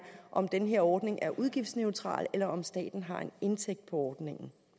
om den her ordning er udgiftsneutral eller om staten har en indtægt fra ordningen